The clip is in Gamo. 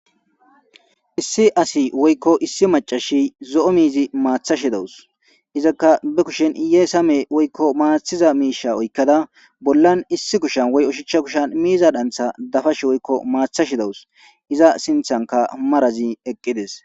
issi asi woykko issi macashi zo7o miizi maathashi dawus izakka be kushen iyee same woykko maathiza miisha oykkada bollan issi kushan woy ushichcha kushan miiza dantha dafash woykko maathashi dawus iza sinthanka marazi eqqides